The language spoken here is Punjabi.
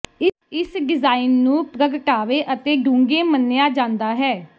ਇਸ ਡਿਜ਼ਾਇਨ ਨੂੰ ਪ੍ਰਗਟਾਵੇ ਅਤੇ ਡੂੰਘੇ ਮੰਨਿਆ ਜਾਂਦਾ ਹੈ